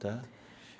Tá?